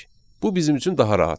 Bu bizim üçün daha rahatdır.